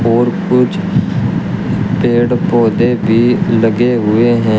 और कुछ पेड़ पौधे भी लगे हुए हैं।